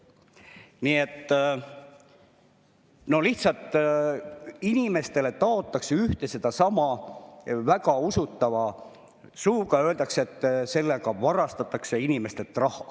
Nii et inimestele lihtsalt taotakse ühte ja sedasama väga usutavalt ja öeldakse, et varastatakse inimestelt raha.